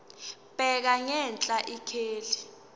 bheka ngenhla ikheli